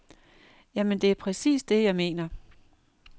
Jamen, det er præcis det, jeg mener.